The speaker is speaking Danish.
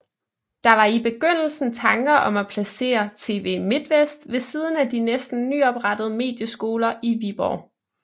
Der var i begyndelsen tanker om at placere TV Midtvest ved siden af de næsten nyoprettede Medieskoler i Viborg